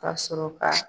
Ka sɔrɔ ka